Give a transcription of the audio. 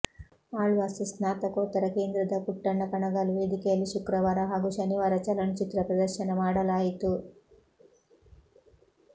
ಆಳ್ವಾಸ್ ಸ್ನಾತಕೋತ್ತರ ಕೇಂದ್ರದ ಪುಟ್ಟಣ್ಣ ಕಣಗಾಲ್ ವೇದಿಕೆಯಲ್ಲಿ ಶುಕ್ರವಾರ ಹಾಗೂ ಶನಿವಾರ ಚಲನಚಿತ್ರ ಪ್ರದರ್ಶನ ಮಾಡಲಾಯಿತು